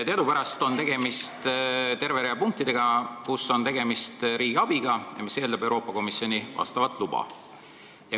Teadupärast on tegemist terve rea punktidega, kus on tegemist riigiabiga, mis eeldab Euroopa Komisjoni luba.